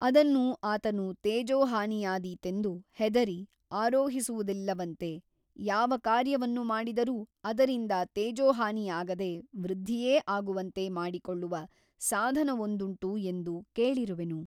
ಅದನ್ನು ಆತನು ತೇಜೋಹಾನಿಯಾದೀತೆಂದು ಹೆದರಿ ಆರೋಹಿಸುವುದಿಲ್ಲವಂತೆ ಯಾವ ಕಾರ್ಯವನ್ನು ಮಾಡಿದರೂ ಅದರಿಂದ ತೇಜೋಹಾನಿಯಾಗದೆ ವೃದ್ಧಿಯೇ ಆಗುವಂತೆ ಮಾಡಿಕೊಳ್ಳುವ ಸಾಧನವೊಂದುಂಟು ಎಂದು ಕೇಳಿರುವೆನು.